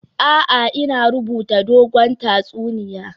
A'a, ina rubuta dogon tatsuniya